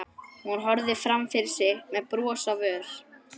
Hún horfði fram fyrir sig með bros á vör.